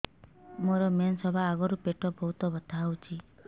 ମୋର ମେନ୍ସେସ ହବା ଆଗରୁ ପେଟ ବହୁତ ବଥା ହଉଚି